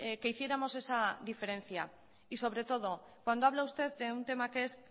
que hiciéramos esa diferencia y sobre todo cuando habla usted de un tema que es